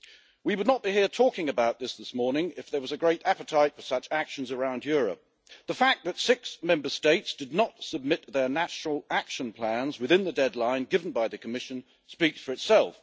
We would not be here talking about this this morning if there was a great appetite for such actions around Europe. The fact that six Member States did not submit their national action plans within the deadline given by the Commission speaks for itself.